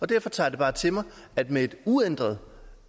derfor tager jeg bare til mig at med en uændret